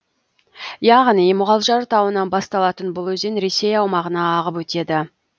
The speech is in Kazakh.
яғни мұғалжар тауынан басталатын бұл өзен ресей аумағына ағып өтеді